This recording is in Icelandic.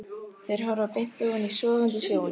Þeir horfa beint ofan í sogandi sjóinn.